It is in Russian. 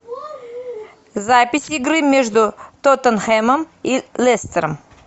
запись игры между тоттенхэмом и лестером